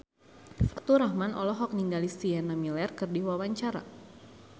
Faturrahman olohok ningali Sienna Miller keur diwawancara